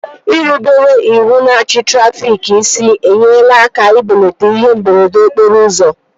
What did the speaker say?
Irubere iwu na achị trafịk isi enyela aka ibelata ihe mberede okporo ụzọ